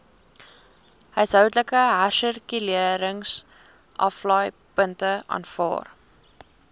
huishoudelike hersirkuleringsaflaaipunte aanvaar